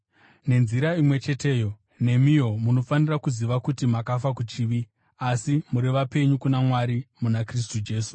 Nenzira imwe cheteyo, nemiwo munofanira kuziva kuti makafa kuchivi, asi muri vapenyu kuna Mwari muna Kristu Jesu.